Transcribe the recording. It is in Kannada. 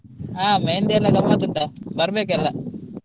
ಹ मेहंदी ಎಲ್ಲ ಗಮ್ಮತ್ ಉಂಟಾ ಬರ್ಬೇಕ್ಕೆಲ್ಲ.